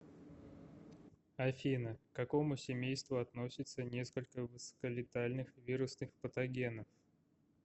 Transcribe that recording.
афина к какому семейству относятся несколько высоколетальных вирусных патогенов